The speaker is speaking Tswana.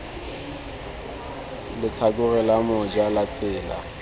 letlhakore la moja la tsela